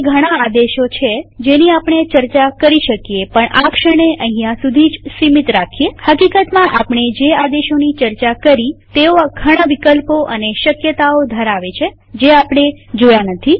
હજી ઘણા આદેશો છે જેની આપણે ચર્ચા કરી શકીએ પણ આ ક્ષણે અહીંયા સુધી જ સીમિત રાખીએહકીકતમાં આપણે જે આદેશોની ચર્ચા કરી તેઓ ઘણા વિકલ્પો અને શક્યતાઓ ધરાવે છે જે આપણે જોયા નથી